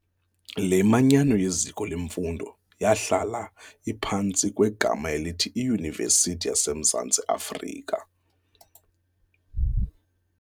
Le manyano yeziko lemfundo, yahlala iphantsi kwegama elithi iYunivesithi yasemZantsi Afrika.